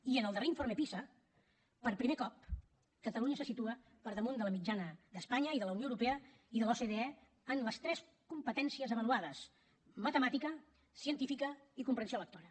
i en el darrer informe pisa per primer cop catalunya se situa per damunt de la mitjana d’espanya i de la unió europea i de l’ocde en les tres competències avaluades matemàtica científica i comprensió lectora